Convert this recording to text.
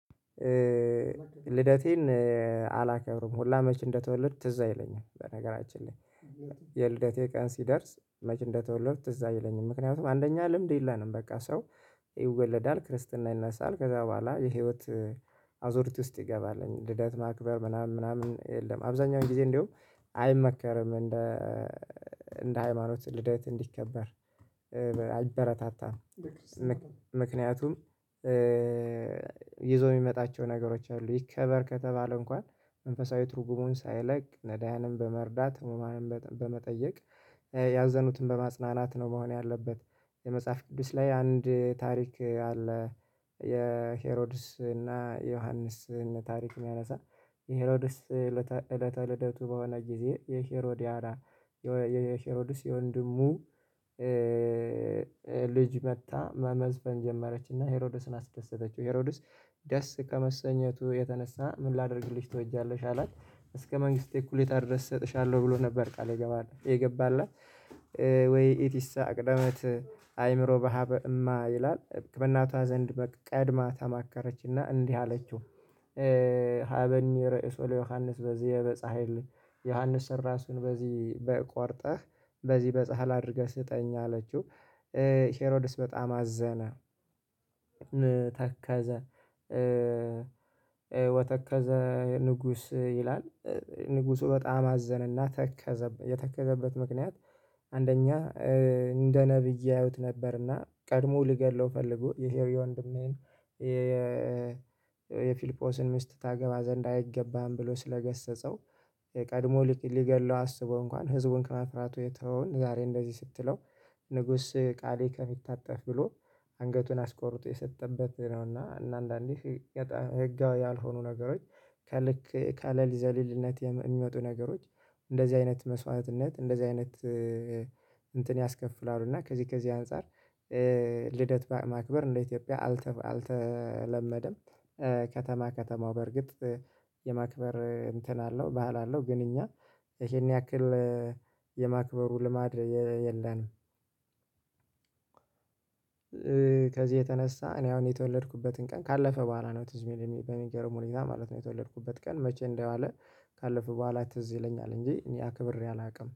ልደቴን አላከብርም ሁላ መቼ እንደተወለድ ትዝ አይለኝም በነገራችን ላይ። የልደቴ ቀን ሲደርስ መቼ እንደተወለዱ ትዝ አይለኝም። ምክንያቱም አንደኛ ልምድ የለንም በቃ ሰው ይወለዳል ክርስትና ይነሳል ከዛ በኋላ የህይወት አዙርቲ ውስጥ ይገባል። ልደት ማክበር ምናምን ምናምን የለም አብዛኛውን ጊዜ እንደውም አይመከርም እንደ እንደ ሃይማኖት ልደት እንዲከበር አይበረታታም። ምክንያቱም ይዞ የሚመጣቸው ነገሮች አሉ። ይከበር ከተባለ እንኳን መንፈሳዊ ትርጉሙን ሳይለቅ ነዳያንም በመርዳት ህሙማንም በመጠየቅ ያዘኑትን በማጽናናት ነው መሆን ያለበት። የመጽሐፍ ቅዱስ ላይ አንድ ታሪክ አለ። የሄሮድስ እና የዮሐንስን ታሪክ የሚያነሳ የሄሮድስ እለተ ልደቱ በሆነ ጊዜ የሄሮዲያድ የሄሮድስ የወንድሙ ልጅ መጥታ መመዝበን ጀመረችና ሄሮዶስን አስደሰተችው። ሄሮዶስ ደስ ከመሰኘቱ የተነሳ ምን ላደርግልሽ ትወጃለሽ አላት? እስከ መንግስቴ እኩሌታ ድረስ እሰጥሻለሁ ብሎ ነበር ቃል የገባላት። ወይ ኢቲሳ ቅደመት አይምሮ በሀበእማ ይላል በእናቷ ዘንድ በቃ ቀድማ ተማከረችና እንዲህ አለችው። ሀበኒ ርዕሶ ለዮሐንስ በዚየ በጻህል ዮሐንስን ራሱን በዚህ ቆርጠህ በዚህ በጻህል አድርገህ ስጠኝ አለችው። ሄሮድስ በጣም አዘነ ተከዘ። ወተከዘ ንጉስ ይላል ንጉሱ በጣም አዘነና ተከዘበት የተከዘበት ምክንያት። አንደኛ እንደ ነብይ ያዩት ነበርና ቀድሞ ልገድለው ፈልጎ የሄሪ ወንድሜን የፊልጶስን ሚስት ታገባ ዘንድ አይገባም ብሎ ስለገሰጸው። የቀድሞ ሊገድለው አስቦ እንኳን ህዝቡን ከመፍራቱ የተወውን ዛሬ እንደዚህ ስትለው ንጉስ ቃሌ ከሚታጠፍ ብሎ አንገቱን አስቆርጦ የሰጠበት ነውና። እና አንዳንዴ ህጋ ያልሆኑ ነገሮች ከልክ ካለል ዘሊልነት የሚመጡ ነገሮች እንደዚህ አይነት መስዋዕትነት እንደዚህ አይነት እንትን ያስከፍላሉ እና ከዚህ ከዚህ አንፃር ልደት ማክበር እንደ ኢትዮጵያ አልተ አልተለመደም። ከተማ ከተማው በርግጥ የማክበር እንትን አለው ባህል አለው። ግን እኛ ይሄን ያክል የማክበሩ ልማድ የለንም። ከዚህ የተነሳ እኔ አሁን የተወለድኩበትን ቀን ካለፈ በኋላ ነው ትዝ የሚል በሚገርም ሁኔታ ማለት ነው። የተወለድኩበት ቀን መቼ እንደ ዋለ ካለፈው በኋላ ትዝ ይለኛል እንጂ እኔ አክብሬ አላውቅም